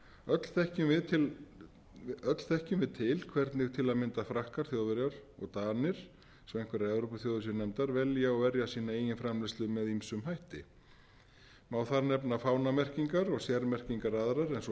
öll þekkjum við til hvernig til að mynda frakkar þjóðverjar og danir svo að einhverjar evrópuþjóðir séu nefndar velja og verja sína eigin framleiðslu með ýmsum hætti má þar nefna fánamerkingar og sérmerkingar aðrar eins og